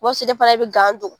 O b'a sɔrɔ e fana be gan don.